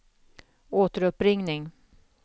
återuppringning